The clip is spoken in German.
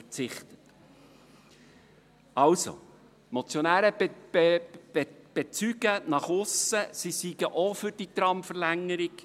Also, die Motionäre bezeugen nach aussen hin, sie seien auch für die Tramverlängerung.